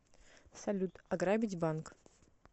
салют ограбить банк